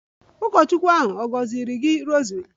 Ụkọchukwu ahụ ọ̀ gọziri gị rosary?